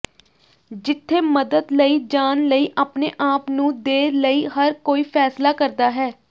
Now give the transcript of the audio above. ਜਿੱਥੇ ਮਦਦ ਲਈ ਜਾਣ ਲਈ ਆਪਣੇ ਆਪ ਨੂੰ ਦੇ ਲਈ ਹਰ ਕੋਈ ਫ਼ੈਸਲਾ ਕਰਦਾ ਹੈ